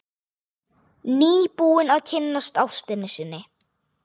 Nýbúinn að kynnast ástinni sinni.